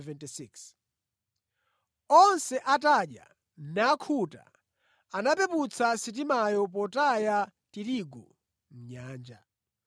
Onse atadya, nakhuta anapeputsa sitimayo potaya tirigu mʼnyanja.